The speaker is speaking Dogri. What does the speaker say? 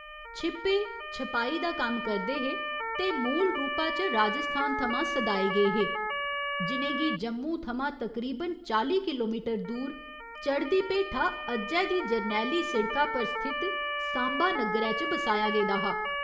छिप्पे' छपाई दा कम्म करदे हे ते मूलरूपा च राजस्थान थमां सदाए गे हे, जि'नें गी जम्मू थमां तकरीबन चाली किलोमीटर दूर चढ़दी भेठा अज्जै दी जरनैली सिड़का पर स्थित 'सांबा' नग्गरै च बसाया गेदा हा।